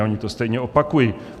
A oni to stejně opakují.